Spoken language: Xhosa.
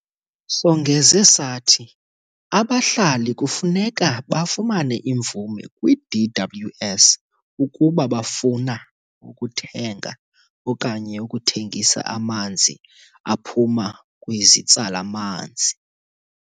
Songeze sathi abahlali kufuneka bafumane imvume kwi-DWS ukuba bafuna ukuthenga okanye ukuthengisa amanzi aphuma kwizitsala-manzi.